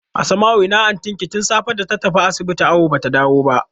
Asma'u ina antin ki tun safe data tafi asibiti awu bata dawo ba?